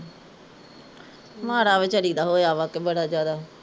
ਮਾੜਾ ਵੀਚਾਰੀ ਦਾ ਹੋਇਆ ਵਾਂ ਕਿ ਬੜਾ ਜਿਆਦਾ